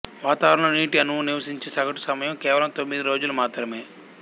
వాతావరణంలో నీటి అణువు నివసించే సగటు సమయం కేవలం తొమ్మిది రోజులు మాత్రమే